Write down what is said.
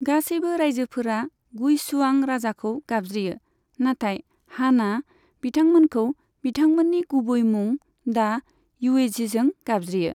गासैबो रायजोफोरा गुइशुआं राजाखौ गाबज्रियो, नाथाय हानआ बिथांमोनखौ बिथांमोननि गुबै मुं दा युएझीजों गाबज्रियो।